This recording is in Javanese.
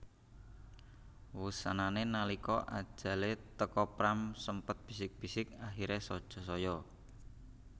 Wusanané nalika ajalé teka Pram sempat bisik bisik Akhiri saja saya